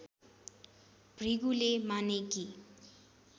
भृगुले माने कि